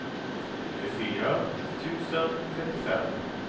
tjugofyra tusen trettiofem